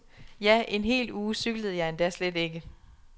Ja, en hel uge cyklede jeg endda slet ikke.